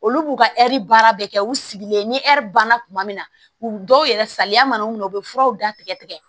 Olu b'u ka ɛri baara bɛ kɛ u sigilen ni ɛri banna kuma min na u dɔw yɛrɛ salaya mana minɛ u bɛ furaw datigɛ tigɛ